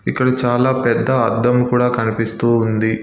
ఇక్కడ చాలా పెద్ద అద్దం కూడా కనిపిస్తూ ఉంది.